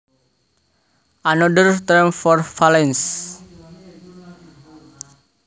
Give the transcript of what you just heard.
Another term for valence